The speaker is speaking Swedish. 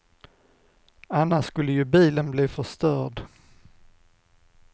Annars skulle ju bilen bli förstörd.